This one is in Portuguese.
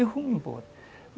Eu fui embora.